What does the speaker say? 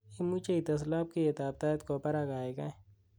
imuje ites labkeiyet at tait kwa barak kaigai